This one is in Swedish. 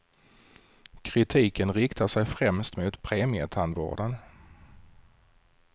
Kritiken riktar sig främst mot premietandvården.